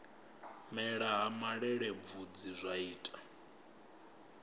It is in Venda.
mela ha malelebvudzi zwa ita